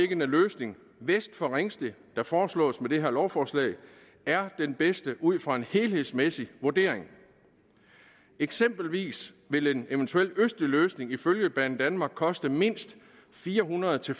den løsning vest for ringsted der foreslås i det her lovforslag er den bedste ud fra en helhedsmæssig vurdering eksempelvis ville en østlig løsning ifølge banedanmark koste mindst fire hundrede til